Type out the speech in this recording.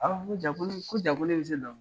ko ja ko ne bi ko ja ko ne bi se dɔnkilida